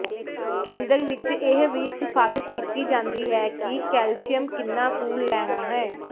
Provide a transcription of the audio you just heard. ਕੇਂਦਰ ਵਿੱਚ ਇਹ ਵੀ ਸਿਫਾਰਸ਼ ਕੀਤੀ ਜਾਂਦੀ ਹੈ ਕਿ ਕੈਲਸ਼ੀਅਮ ਕਿੰਨਾ ਕੁ ਲੈਣਾ ਹੈ